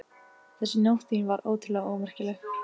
Þessi Nótt þín var óttalega ómerkileg.